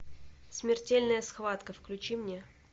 смертельная схватка включи мне